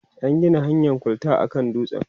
an Gina hanyan kwalta a kan dutsen